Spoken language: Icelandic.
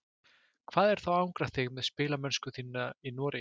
Hvað er þá að angra þig með spilamennsku þína í Noregi?